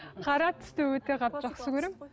қара түсті өте қатты жақсы көремін